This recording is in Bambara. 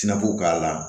I n'a fɔ k'a la